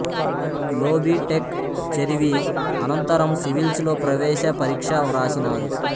లో B tech చదివి అనంతరం సివిల్స్ లో ప్రవేశపరీక్ష వ్రాసినారు